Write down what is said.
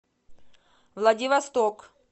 владивосток